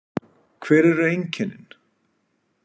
Hver eru einkennin?